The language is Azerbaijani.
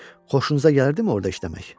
Xoşunuza gəlirdimi orada işləmək?